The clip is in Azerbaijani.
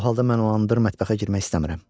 O halda mən olanda mətbəxə girmək istəmirəm.